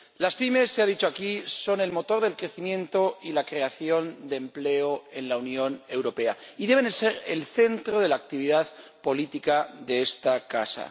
Las pymes, se ha dicho aquí, son el motor del crecimiento y la creación de empleo en la Unión Europea, y deben ser el centro de la actividad política de esta casa.